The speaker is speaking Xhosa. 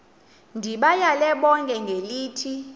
ndibayale bonke ngelithi